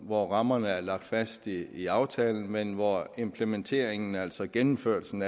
hvor rammerne er lagt fast i i aftalen men hvor implementeringen af den altså gennemførelsen